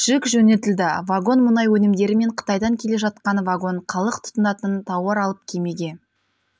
жүк жөнелтілді вагон мұнай өнімдері мен қытайдан келе жатқан вагон халық тұтынатын тауар алып кемеге